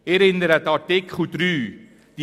Ich erinnere an Artikel 3: